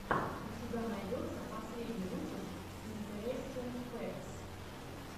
у тебя найдется последний выпуск интерестин фэктс